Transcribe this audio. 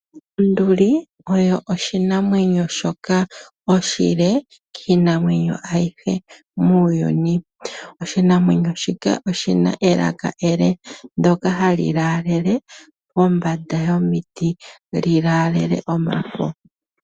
Onduli oyo oshi namwenyo shoka oshile kiinamwenyo ayihe muuyuni, oshi namwenyo shika oshina elaka ele ndoka hali laalele pombanda yomiti lilaale omafo.